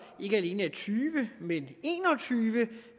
tyve men